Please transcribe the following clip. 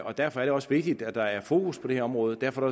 og derfor er det også vigtigt at der er fokus på det her område og derfor er